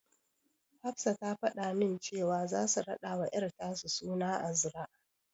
Hafsa ta fada min cewa zasu raɗawa ƴar tasu suna Azra.